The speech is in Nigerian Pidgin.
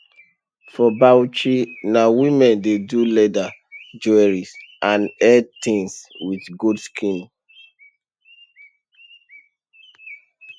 for bauchi na women dey do leather jewellery and hair things with goat skin